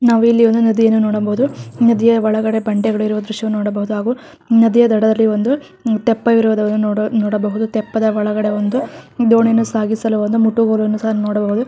ನಾವಿಲ್ಲಿ ಒಂದು ನದಿಯನ್ನು ನೋಡಬಹುದು ನದಿಯ ಒಳಗಡೆ ಬಂಡೆಗಳು ಇರುವ ದ್ರಶ್ಯವನ್ನು ನೋಡಬಹುದು ಹಾಗು ನದಿಯ ದಡದಲ್ಲಿ ಒಂದು ಆಹ್ಹ್ ತೆಪ್ಪ ಇರುವುದನ್ನು ನೋಡ-ನೋಡಬಹುದು ತೆಪ್ಪದ ಒಳಗಡೆ ಒಂದು ದೋಣಿಯನ್ನು ಸಾಗಿಸಲು ಒಂದು ಮುಟ್ಟುಗೋಲನ್ನು ಸಹ ನೋಡಬಹುದು.